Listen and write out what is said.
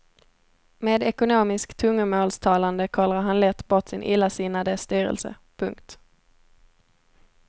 Med ekonomiskt tungomålstalande kollrar han lätt bort sin illasinnade styrelse. punkt